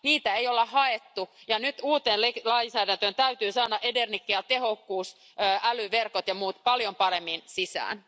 Niitä ei olla haettu ja nyt uuteen lainsäädäntöön täytyy saada energiatehokkuus, älyverkot ja muut paljon paremmin mukaan.